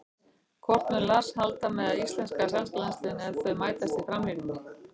Hvort mun Lars halda með íslenska eða sænska landsliðinu ef þau mætast í framtíðinni?